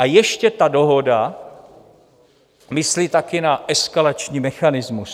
A ještě ta dohoda myslí taky na eskalační mechanismus.